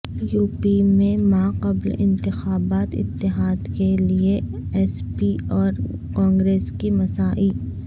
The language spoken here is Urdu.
یوپی میں ماقبل انتخابات اتحاد کے لئے ایس پی اور کانگریس کی مساعی